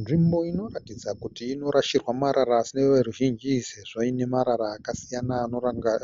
Nzvimbo inoratidza kuti inorashirwa marara isi neveruzhinji isi sezvo paine marara akasiyana